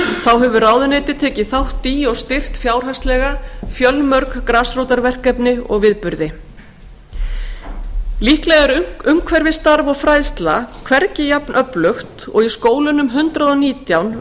þá hefur ráðuneytið tekið þátt í og styrkt fjárhagslega fjölmörg grasrótarverkefni og viðburði líklega er umhverfisstarf og fræðsla hvergi jafn öflug og í skólunum hundrað